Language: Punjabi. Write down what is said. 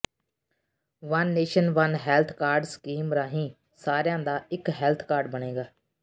one nation one health card scheme ਰਾਹੀਂ ਸਾਰਿਆਂ ਦਾ ਇਕ ਹੈਲਥ ਕਾਰਡ ਬਣੇਗਾ